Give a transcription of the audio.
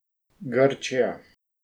Grčija.